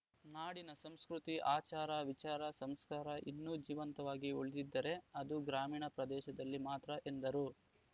ನಾಡಿನ ಸಂಸ್ಕೃತಿ ಆಚಾರ ವಿಚಾರ ಸಂಸ್ಕಾರ ಇನ್ನೂ ಜೀವಂತವಾಗಿ ಉಳಿದಿದ್ದರೆ ಅದು ಗ್ರಾಮೀಣ ಪ್ರದೇಶದಲ್ಲಿ ಮಾತ್ರ ಎಂದರು